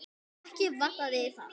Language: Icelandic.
Ekki vantaði það.